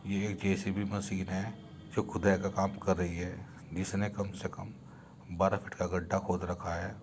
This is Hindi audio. ये एक जेसीबी मशीन है जो खुदाई का काम कर रही है। इसने कम से कम बारह फीट का गड्ढा खोद रखा है।